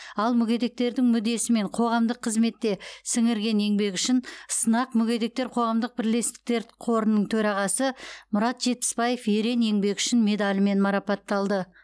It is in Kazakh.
ал мүгедектердің мүддесі мен қоғамдық қызметте сіңірген еңбегі үшін сынақ мүгедектер қоғамдық бірлестіктер қорының төрағасы мұрат жетпісбаев ерен еңбегі үшін медалімен марапатталды